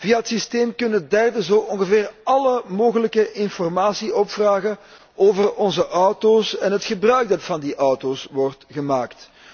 Via het systeem kunnen derden zo ongeveer alle mogelijke informatie opvragen over onze auto´s en het gebruik dat van die auto´s wordt gemaakt.